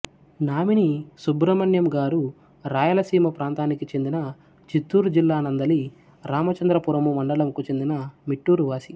nominee Subrahmanyam గారు రాయలసీమ ప్రాంతానికిచెందిన చిత్తూరు జిల్లానందలి రామచంద్రపురము మండలంకుచెందిన మిట్టూరువాసి